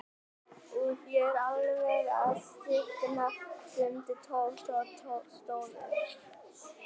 Úff, ég er alveg að stikna stundi Tóti og stóð upp.